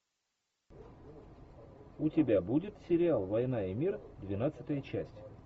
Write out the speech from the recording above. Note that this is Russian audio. у тебя будет сериал война и мир двенадцатая часть